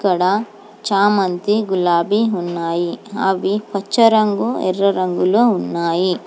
ఇక్కడ చామంతి గులాబీ ఉన్నాయి అవి పచ్చ రంగు ఎర్ర రంగులో ఉన్నాయి.